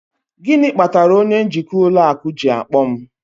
Gịnị kpatara onye njikwa ụlọ akụ ji akpọ m?